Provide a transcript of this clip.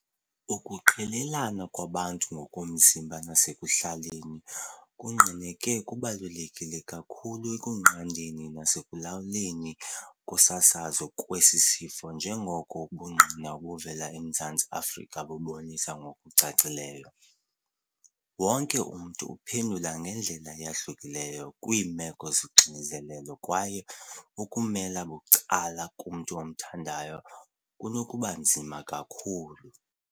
Ukuqelelana kwabantu ngokomzimba nasekuhlaleni kungqineke kubalulekile kakhulu ekunqandeni nasekulawuleni kokusasazeka kwesi sifo njengoko ubungqina obuvela eMzantsi Afrika bubonisa ngokucacileyo. Wonke umntu uphendula ngendlela eyahlukileyo kwiimeko zoxinzelelo kwaye ukumela bucala kumntu omthandayo kunokubanzima kakhulu."